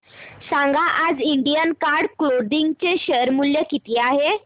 सांगा आज Indian card clothing चे शेअर मूल्य किती आहे